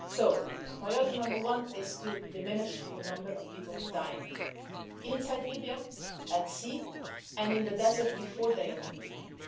So priority number one is to diminish the number of people dying inside Libya, at sea, and in the desert before they enter Libya.